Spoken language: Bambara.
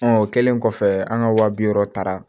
o kɛlen kɔfɛ an ka wa bi wɔɔrɔ taara